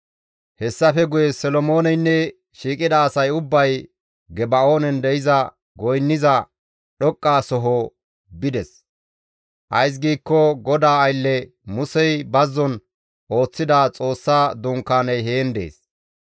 Hessafe guye Solomooneynne shiiqida asay ubbay Geba7oonen de7iza goynniza dhoqqa soho bides; ays giikko GODAA aylle Musey bazzon ooththida Xoossa Dunkaaney heen dees.